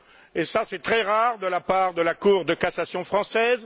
Et ça, c'est très rare de la part de la Cour de cassation française.